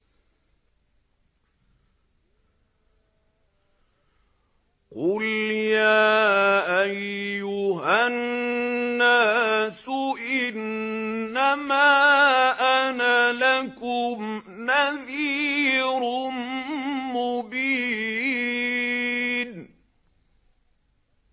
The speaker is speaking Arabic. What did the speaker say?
قُلْ يَا أَيُّهَا النَّاسُ إِنَّمَا أَنَا لَكُمْ نَذِيرٌ مُّبِينٌ